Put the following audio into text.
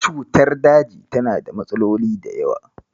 Cutar daji tana da matsaloli da yawa.